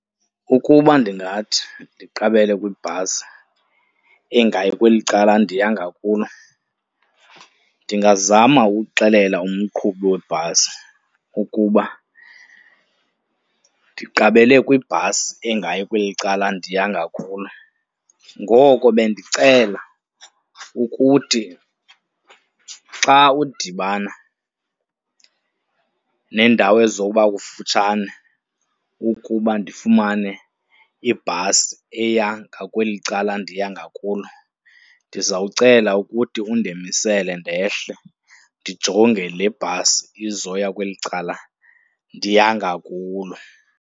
Ukuba ndingathi ndiqabele kwibhasi engayi kweli cala ndiya ngakulo ndingazama ukuxelela umqhubi webhasi ukuba ndiqabele kwibhasi engayi kweli cala ndiya ngakulo. Ngoko bendicela ukuthi xa udibana nendawo ezoba kufutshane ukuba ndifumane ibhasi eya ngakweli cala ndiya ngakulo, ndizawucela ukuthi undemisele ndehle, ndijonge le bhasi izoya kweli cala ndiya ngakulo.